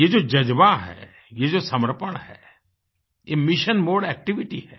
ये जोजज़्बा है ये जो समर्पण है ये मिशन मोडे एक्टिविटी है